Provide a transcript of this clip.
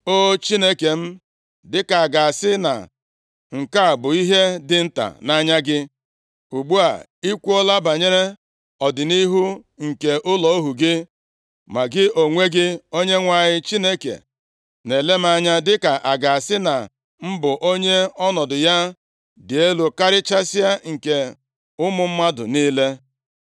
O Chineke m, dịka a ga-asị na nke a bụ ihe dị nta nʼanya gị, ugbu a, i kwuola banyere ọdịnihu nke ụlọ ohu gị. Ma gị onwe gị Onyenwe anyị Chineke na-ele m anya dịka a ga-asị na m bụ onye ọnọdụ ya dị elu karịchasịa nke ụmụ mmadụ niile.